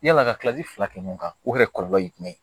Yala ka kilasi fila kɛ ɲɔgɔn kan o yɛrɛ kɔlɔlɔ ye jumɛn ye